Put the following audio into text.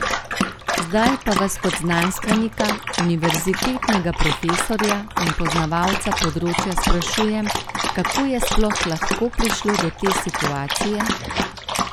Zdaj pa vas kot znanstvenika, univerzitetnega profesorja in poznavalca področja sprašujem, kako je sploh lahko prišlo do te situacije?